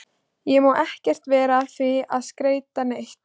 Ég má ekkert vera að því að skreyta neitt.